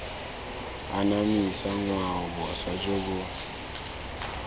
anamisa ngwao boswa jo bo